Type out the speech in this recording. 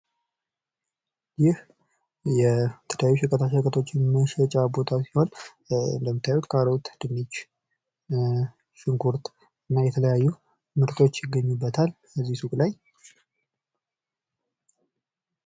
ይህ የተለያዩ ሸቀጣሸቀጦችን መሸጫ ቦታ ሲሆን እንደምታዩት ካሮት፣ ድንች፣ ሽንኩርት እና የተለያዩ ምርቶችን ይገኙበታል። እዚህ ሱቅ ላይ።